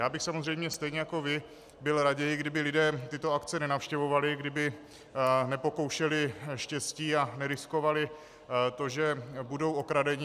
Já bych samozřejmě stejně jako vy byl raději, kdyby lidé tyto akce nenavštěvovali, kdyby nepokoušeli štěstí a neriskovali to, že budou okradeni.